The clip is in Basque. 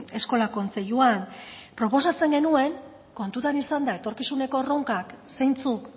eskola kontseiluan proposatzen genuen kontutan izanda etorkizuneko erronkak zeintzuk